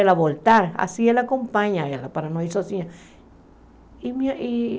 Ela voltar, assim ela acompanhava ela para não ir sozinha.